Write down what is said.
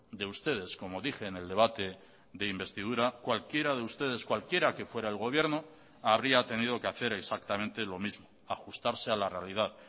de ustedes como dije en el debate de investidura cualquiera de ustedes cualquiera que fuera el gobierno habría tenido que hacer exactamente lo mismo ajustarse a la realidad